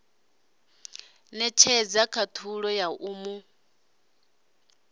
netshedza khathulo ya u mu